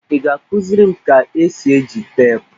Ị ga-akụziri m ka-esi eji teepụ?